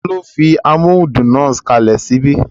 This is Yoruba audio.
Taló fi amóhudùn náà kalẹ̀ sí ibí?